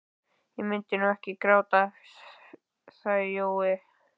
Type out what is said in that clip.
Ég mundi nú ekki gráta það sagði Jói.